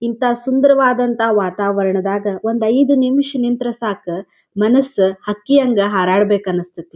ಇಂಥ ಸುಂದರವಾದನಂಥ ವಾತಾವರಣದಾಗ ಒಂದ್ ಐದು ನಿಮಿಷ ನಿಂತ್ರ ಸಾಕ ಮನಸ್ಸು ಹಕ್ಕಿ ಹಂಗ ಹಾರಾಡಬೇಕು ಅಂಸ್ಥೈತಿ.